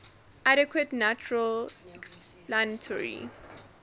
adequate natural explanatory